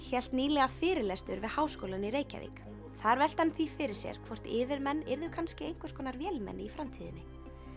hélt nýlega fyrirlestur við Háskólann í Reykjavík þar velti hann því fyrir sér hvort yfirmenn yrðu kannski einhverskonar vélmenni í framtíðinni